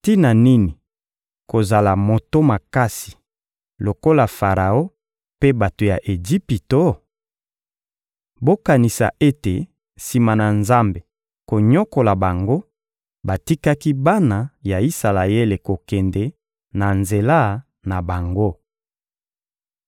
Tina nini kozala moto makasi lokola Faraon mpe bato ya Ejipito? Bokanisa ete sima na Nzambe konyokola bango, batikaki bana ya Isalaele kokende na nzela na bango.